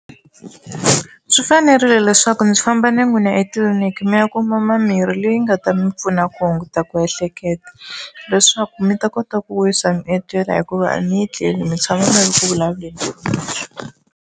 Swi fanerile leswaku ndzi famba na n'wina etliliniki mi ya kuma mirhi leyi nga ta mi pfuna ku hunguta ku ehleketa leswaku mi ta kota ku wisa mi etlela hikuva a mi tlela mi tshama mi ri ku vulavuleni.